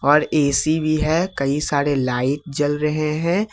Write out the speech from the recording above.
और ए_सी भी है कई सारे लाइट जल रहे हैं।